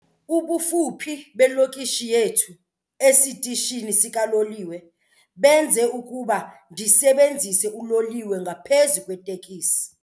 Ubufuphi belokishi yethu esitishini sikaloliwe benze ukuba ndisebenzise uloliwe ngaphezu kweetekisi.